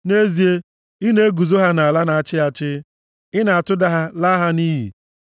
Nʼezie, ị na-eguzo ha nʼala na-achị achị; ị na-atụda ha, laa ha nʼiyi.